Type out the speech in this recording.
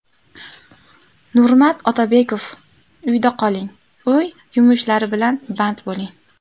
Nurmat Otabekov: Uyda qoling, uy yumushlari bilan band bo‘ling.